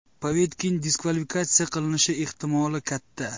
Povetkin diskvalifikatsiya qilinishi ehtimoli katta.